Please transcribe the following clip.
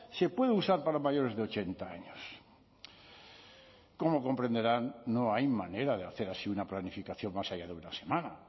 se puede usar para mayores de ochenta años como comprenderán no hay manera de hacer así una planificación más allá de una semana